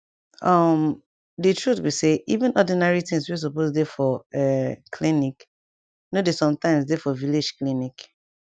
um di truth be say even ordinary things wey supose dey for um clinic nor dey sometimes dey for village clinic